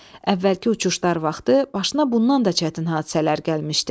Əvvəlki uçuşlar vaxtı başına bundan da çətin hadisələr gəlmişdi.